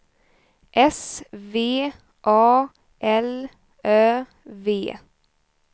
S V A L Ö V